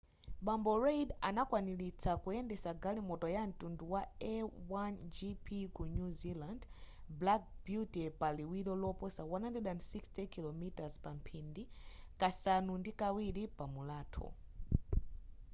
bambo reid anakwanilitsa kuyendetsa galimoto ya mtundu wa a1gp ku new zealand black beauty pa liwiro loposa 160km/h kasanu ndi kawiri pa mulatho